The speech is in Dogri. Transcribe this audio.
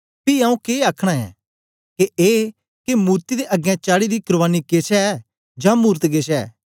पी आऊँ के आखना ऐ के ए के मूर्ति दे अगें चाढ़ी दी कुर्बानी केछ ऐ जां मूरत केछ ऐ